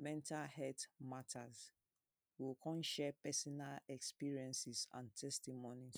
mental health matter. We o con share personal experiences and testimony.